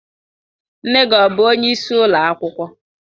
Nne gi ọ bu onye isi ụlọ akwụkwọ?